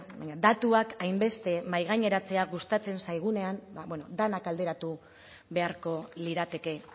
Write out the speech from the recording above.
baina datuak hainbeste mahaigaineratzea gustatzen zaigunean ba bueno denak alderatu beharko lirateke